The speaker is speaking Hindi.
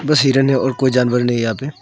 बस हिरन है और कोई जानवर नही है यहां पे।